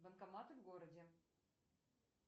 банкоматы в городе